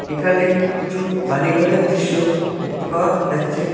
এখানে কিছু বাড়িঘরের দৃশ্য দেখতে পাওয়া যাচ্ছে।